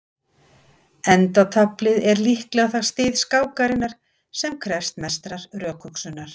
Endataflið er líklega það stig skákarinnar sem krefst mestrar rökhugsunar.